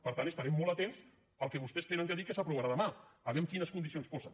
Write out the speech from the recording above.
per tant estarem molt atents al que vostès han de dir que s’aprovarà demà a veure quines condicions posen